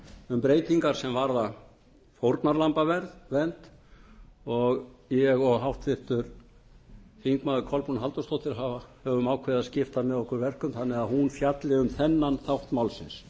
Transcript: um breytingar sem varða fórnarlambavernd ég og háttvirtir þingmenn kolbrún halldórsdóttir höfum ákveðið að skipta með okkur verkum þannig að hún fjalli um þennan þátt málsins